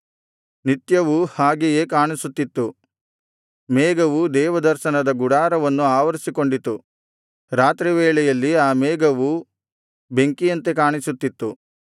ನಿತ್ಯವೂ ಹಾಗೆಯೇ ಕಾಣಿಸುತ್ತಿತ್ತು ಮೇಘವು ದೇವದರ್ಶನದ ಗುಡಾರವನ್ನು ಆವರಿಸಿಕೊಂಡಿತು ರಾತ್ರಿವೇಳೆಯಲ್ಲಿ ಆ ಮೇಘವು ಬೆಂಕಿಯಂತೆ ಕಾಣಿಸುತ್ತಿತ್ತು